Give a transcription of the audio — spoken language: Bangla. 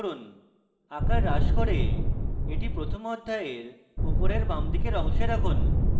আকার হ্রাস করুন এবং এটি প্রথম অধ্যায়ের উপরের বাঁদিকের অংশে রাখুন